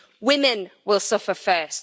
Women will suffer first.